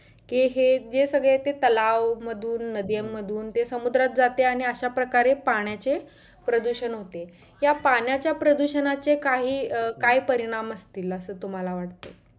के हे जे सगळे ते तलाव मधुन, नद्यांमधून ते समुद्रात जाते आणि अश्या प्रकारे पाण्याचे प्रदुषण होते. या पाण्याच्या प्रदूषणाचे काही अं काय परिणाम असतील असं तुम्हाला वाटते?